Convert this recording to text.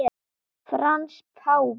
Frans páfi